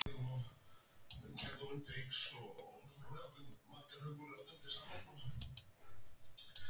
Úr því að tunglið getur valdið sólmyrkva getur Venus ekki eins gert það?